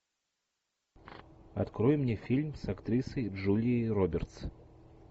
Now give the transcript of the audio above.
открой мне фильм с актрисой джулией робертс